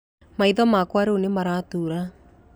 Maitho makwa rĩu nĩ maratura.